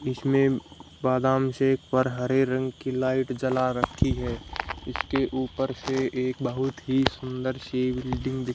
इसमें बादाम शेक पर हरे रंग की लाइट जला रखी है इसके ऊपर से एक बहुत ही सुंदर सी बिल्डिंग दिख--